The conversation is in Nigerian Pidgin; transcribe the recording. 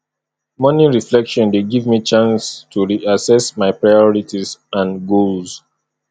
morning reflection dey give me chance to reassess my priorities and goals